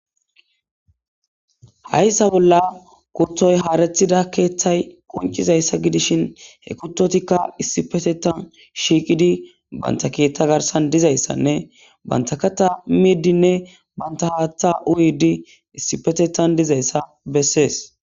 Hayssa bolla kurtoy haarethida keeththay qoncizayssa gidishin he kuttotikka issipetetan shiiqidi banta keeththa garsan dizayssanne bantakata miiddinne banta haatha uyidi issipetetan dizayssa bessees.